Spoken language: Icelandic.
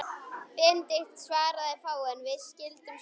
Benedikt svaraði fáu, en við skildum sæmilega.